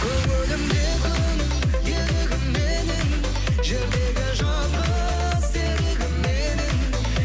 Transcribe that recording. көңілімде күн елігім менің жердегі жалғыз серігім едің